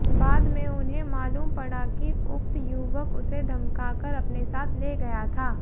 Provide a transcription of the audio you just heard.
बाद में उन्हें मालूम पड़ा कि उक्त युवक उसे धमकाकर अपने साथ ले गया था